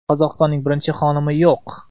Qozog‘istonning birinchi xonimi yo‘q.